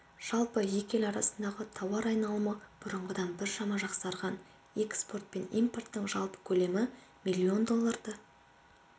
жалпы екі ел арасындағы тауар айналымы бұрынғыдан біршама жақсарған экспорт пен импорттың жалпы көлемі миллион долларды